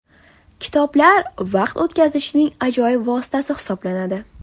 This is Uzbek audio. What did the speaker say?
Kitoblar – vaqt o‘tkazishning ajoyib vositasi hisoblanadi.